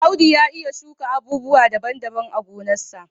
Audu ya iya shuka abubuwa daban-daban a gonarsa.